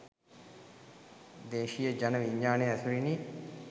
දේශීය ජන විඤ්ඤාණය ඇසුරිනි.